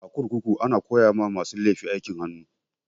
A kurkuku ana koya ma masu laifi aikin hannu